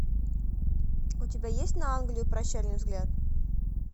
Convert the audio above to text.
у тебя есть на англию прощальный взгляд